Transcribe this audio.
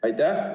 Aitäh!